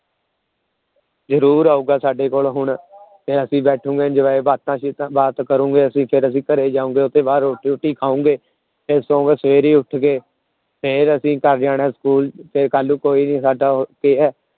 ਜ਼ਰੂਰ ਆਊਗਾ ਸਾਡੇ ਕੋਲ ਹੁਣ ਫਿਰ ਅਸੀਂ ਬੈਠੋਗੇ enjoy ਬਾਤਾਂ ਚੀਤਾਂ, ਬਾਤ ਕਰੋਂਗੇ ਅਸੀਂ ਫਿਰ ਅਸੀਂ ਘਰੇ ਜਾਓਗੇ ਉਹਦੇ ਬਾਅਦ ਰੋਟੀ ਰੂਟੀ ਖਾਓਗੇ ਫਿਰ ਸੌਂ ਕੇ ਸਵੇਰੇ ਉੱਠ ਕੇ, ਫਿਰ ਅਸੀਂ ਘਰ ਜਾਣਾ school ਫਿਰ ਕੱਲ੍ਹ ਨੂੰ ਕੋਈ ਨੀ ਸਾਡਾ